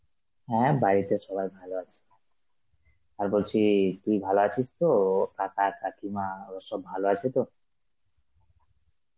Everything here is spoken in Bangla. হ্যাঁ বাড়িতে সবাই ভালো আছে, আর বলছি তুই ভালো আছিস তো ও? কাকা কাকিমা ওরা সব ভালো আছে তো?